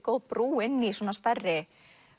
góð brú inn í stærri